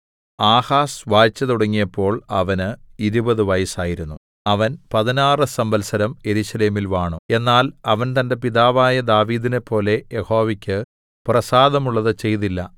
Ahaz വാഴ്ച തുടങ്ങിയപ്പോൾ അവന് ഇരുപത് വയസ്സായിരുന്നു അവൻ പതിനാറ് സംവത്സരം യെരൂശലേമിൽ വാണു എന്നാൽ അവൻ തന്റെ പിതാവായ ദാവീദിനെപ്പോലെ യഹോവയ്ക്ക് പ്രസാദമുള്ളത് ചെയ്തില്ല